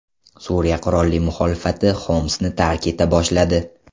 Suriya qurolli muxolifati Xomsni tark eta boshladi.